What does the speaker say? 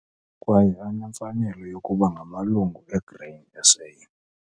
kwaye anemfanelo yokuba ngamalungu eGrain SA.